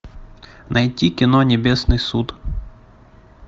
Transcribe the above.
найти кино небесный суд